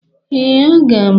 Ee, aga m.